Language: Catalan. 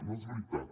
no és veritat